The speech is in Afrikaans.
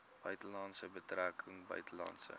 buitelandse betrekkinge buitelandse